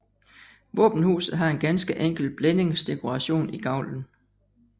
Våbenhuset har en ganske enkel blændingsdekoration i gavlen